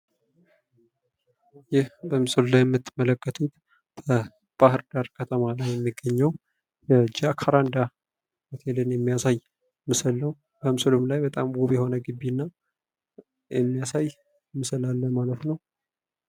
ይህ በምስሉ ላይ ምትመለከቱት በባህር ዳር ከተማ ላይ የሚገኘው የጃካራንዳ ሆቴልን የሚያሳይ ምስል ነው። ምስሉም ላይ በጣም ውብ የሆነ ግቢን የሚያሳይ ምስል አለ ማለት ነው።